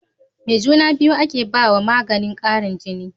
Me juna biyu ake bawa maganin Karin jini